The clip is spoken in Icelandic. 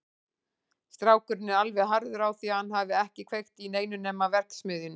Strákurinn er alveg harður á því að hann hafi ekki kveikt í neinu nema verksmiðjunni.